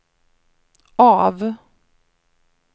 av